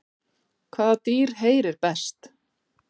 Hvaða dýr heyrir best?